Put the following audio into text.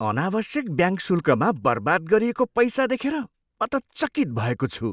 अनावश्यक ब्याङ्क शुल्कमा बर्बाद गरिएको पैसा देखेर म त चकित भएको छु।